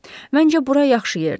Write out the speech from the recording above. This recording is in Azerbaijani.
Məncə bura yaxşı yerdir.